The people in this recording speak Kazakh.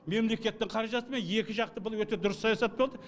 мемлекеттің қаражатымен екі жақты бұл өте дұрыс саясат болды